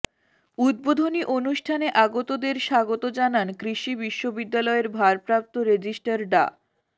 উদ্বোধনী অনুষ্ঠানে আগতদের স্বাগত জানান কৃষি বিশ্ববিদ্যালয়ের ভারপ্রাপ্ত রেজিস্ট্রার ডা